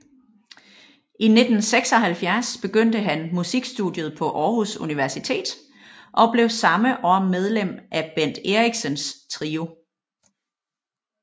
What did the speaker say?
I 1976 påbegyndte han musikstudiet på Århus Universitet og blev samme år medlem af Bent Eriksens trio